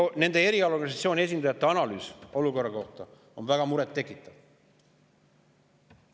Selle erialaorganisatsiooni esindajate analüüs olukorra kohta on väga muret tekitav.